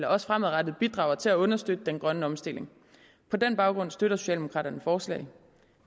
også fremadrettet bidrager til at understøtte den grønne omstilling på den baggrund støtter socialdemokraterne forslaget